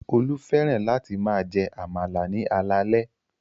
Olú fẹ́ràn láti máa jẹ àmàlà ní alaalẹ́